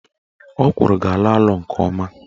Ọkwụrụ ga-alọ alọ nke ọma